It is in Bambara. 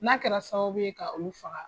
N'a kɛra sababu ye ka u faga!